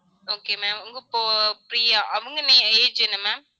okay mam உங்க போ~ பிரியா அவங்க ஆஹ் age என்ன ma'am